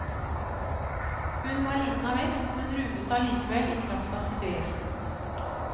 Hun var liten av vekst, men ruvet allikevel i kraft av sitt vesen.